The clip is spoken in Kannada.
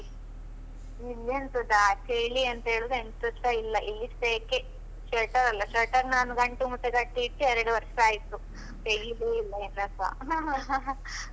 ಇಲ್ಲಿ ಎಂತದ ಚಳಿ ಅಂತ ಹೇಳುದು ಎಂತಾಸ ಇಲ್ಲ ಇಲ್ಲಿ ಸೆಕೆ, sweater ಅಲ್ಲ sweater ನಾನು ಗಂಟು ಮೂಟೆ ಕಟ್ಟಿ ಇಟ್ಟಿ ಎರಡು ವರ್ಷ ಆಯ್ತು. ತೆಗೀಲೆ ಇಲ್ಲ ಇನ್ನುಸ